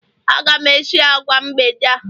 Aga m esi agwa mgbede a